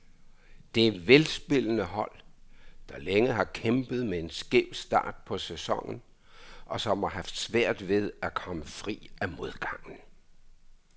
Det er velspillende hold, der længe har kæmpet med en skæv start på sæsonen, og som har haft svært ved at komme fri af modgangen.